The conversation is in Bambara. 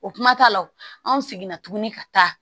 O kuma t'a la o anw seginna tuguni ka taa